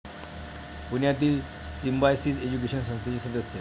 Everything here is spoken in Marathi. पुण्यातील सिंम्बायसिस एज्युकेशन संस्थेचे सदस्य.